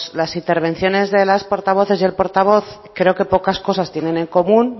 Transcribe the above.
las intervenciones de las portavoces y el portavoz creo que pocas cosas tiene en común